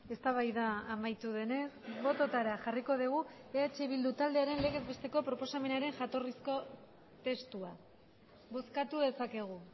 eztabaida amaitu denez bototara jarriko dugu eh bildu taldearen legez besteko proposamenaren jatorrizko testua bozkatu dezakegu